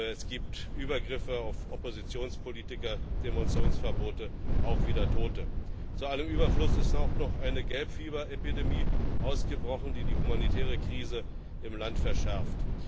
Es gibt Übergriffe auf Oppositionspolitiker, Demonstrationsverbote, auch wieder Tote. Zu allem Überfluss ist auch noch eine Gelbfieberepidemie ausgebrochen, die die humanitäre Krise im Land verschärft.